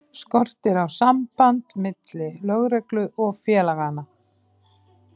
Skortir á samband milli lögreglu og félaganna?